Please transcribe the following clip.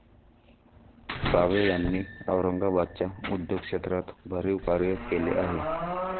Save यांनी औरंगाबादच्या उद्योग क्षेत्रात भरीव कार्य केले आहे.